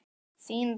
Þín Rós.